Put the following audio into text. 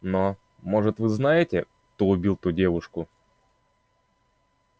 но может вы знаете кто убил ту девушку